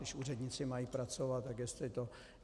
Když úředníci mají pracovat, tak jestli to.